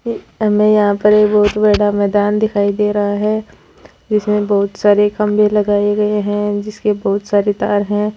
हमे यहाँ पर बहुत ही बड़ा मैदान दिखाय दे रहा है जिसमे बहुत सारे खंभे लगाये गए है जिसके बहुत सारे तार है।